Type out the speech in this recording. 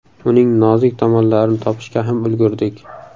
Uning nozik tomonlarini topishga ham ulgurdik.